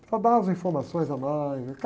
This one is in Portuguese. Para dar as informações a mais.